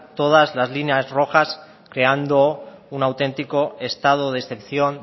todas las líneas rojas creando un auténtico estado de excepción